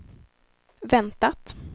väntat